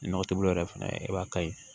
Nɔgɔ tɛ bolo yɛrɛ fana ye i b'a kari